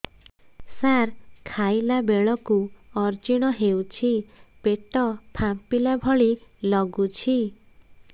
ସାର ଖାଇଲା ବେଳକୁ ଅଜିର୍ଣ ହେଉଛି ପେଟ ଫାମ୍ପିଲା ଭଳି ଲଗୁଛି